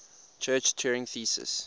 church turing thesis